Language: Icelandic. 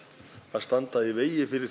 standa í vegi fyrir